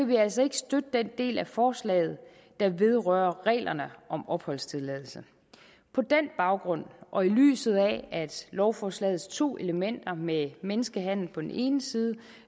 vi altså ikke støtte den del af forslaget der vedrører reglerne om opholdstilladelse på den baggrund og i lyset af at lovforslagets to elementer med menneskehandel på den ene side